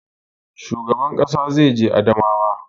Shugaban ƙasa zai je Adamawa